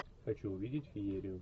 хочу увидеть феерию